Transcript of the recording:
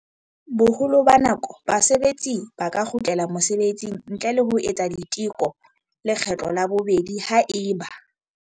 Boholo ba nako, basebetsi ba ka kgutlela mosebetsing ntle le ho etsa diteko lekgetlo la bobedi haeba.